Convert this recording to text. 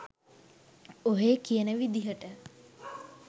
ඔහේ කියන විදියට